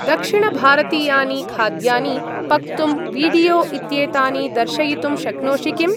दक्षिणभारतीयानि खाद्यानि पक्तुं वीडियो इत्येतानि दर्शयितुं शक्नोषि किम्? NOTE: THE TEXTUAL ERROR HAS TO BE RECTIFIED. IT HAS NOT BEEN EXECUTED.